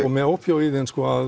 og með ópíóíðin